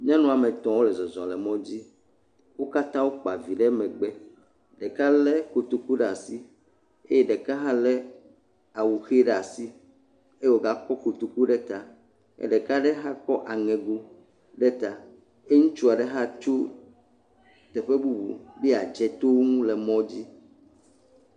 Nyɔnu ame tɔ̃ wole zɔzɔ le mɔdzi. Wo katã wokpa vi ɖe megbe. Ɖeka lé otoku ɖe asi. Eye ɖeka hã lé awu ʋe ɖe asi eye wògakɔ kotoku ɖe ta, ye ɖeka aɖe hã kɔ aŋɛgo ɖe ta eye ŋutsu aɖe hã tsu teƒe bubu be yeadze to wo ŋu le mɔdzi.